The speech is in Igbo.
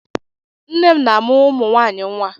Nne m na-amụ́ ụmụ nwaanyị nwa.